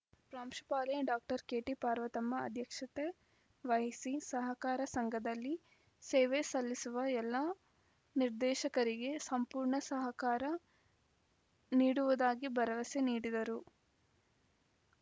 ಪ್ರಾಂಶುಪಾಲೆ doctor ಕೆಟಿಪಾರ್ವತಮ್ಮ ಅಧ್ಯಕ್ಷತೆ ವಹಿಸಿ ಸಹಕಾರ ಸಂಘದಲ್ಲಿ ಸೇವೆಸಲ್ಲಿಸುವ ಎಲ್ಲ ನಿರ್ದೇಶಕರಿಗೆ ಸಂಪೂರ್ಣ ಸಹಕಾರ ನೀಡುವುದಾಗಿ ಭರವಸೆ ನೀಡಿದರು